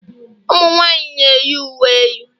Ụmụ nwanyị na-eyi uwe elu